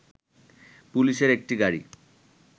পুলিশের একটি গাড়ি